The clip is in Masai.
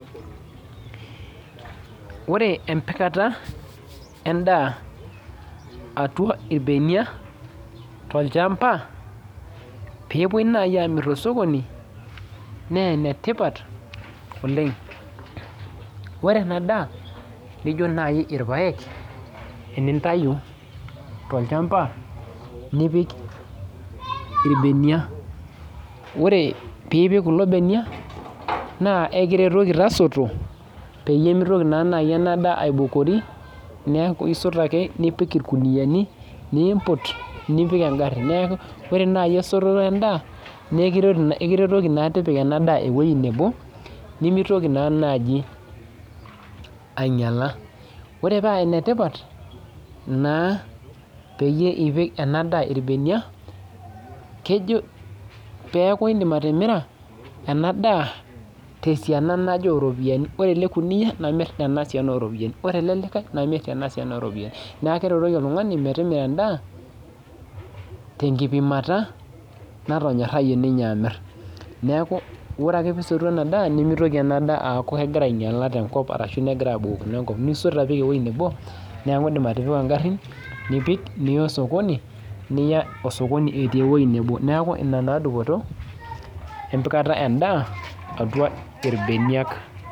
Ore empikata endaa atua irbenia tolchamba, pepoi nai amir tosokoni, nenetipat oleng. Ore enadaa nijo nai irpaek enintayu tolchamba nipik irbenia, ore pipik kulo benia, naa ekiretoki tasoto, peyie mitoki naa nai enadaa aibukori, neeku isot ake nipik irkuniyiani, nimput, nipik egarri. Neeku, ore nai esototo endaa, nekiretoki naa tipika enadaa ewoi nebo, nimitoki naa naji ainyala. Ore paa enetipat naa peyie ipik enadaa irbenia, kejo peeku idim atimira enadaa tesiana naje oropiyiani. Ore ele kuniyia namir tesiana naje oropiyiani, ore ele likae, namir tenasiana oropiyiani. Neeku keretoki oltung'ani metimira endaa, tenkipimata, natonyorrayie ninye amir. Neeku ore ake pisotu enadaa nimitoki enadaa aaku kegira ainyala tenkop arashu negira abukokino enkop. Nisot apik ewoi nebo, neeku idim atipika garrin, nipik niya osokoni, niya osokoni etii ewoi nebo. Neeku ina naa dupoto, empikata endaa atua irbeniak.